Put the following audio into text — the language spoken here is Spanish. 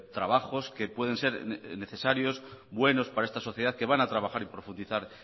trabajos que pueden ser necesarios buenos para esta sociedad que van a trabajar y profundizar